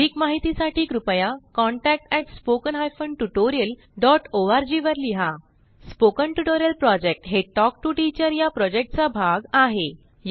अधिक माहितीसाठी कृपया contact at spoken hyphen tutorial dot ORG वर लिहा स्पोकन ट्युटोरियल प्रॉजेक्ट हे टॉक टू टीचर या प्रॉजेक्टचा भाग आहे